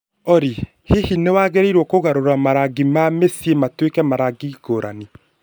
Olly, hihi nĩ wagĩrĩirũo kũgarũrĩra marangi ma mĩciĩ matwike ma rangi ngũrani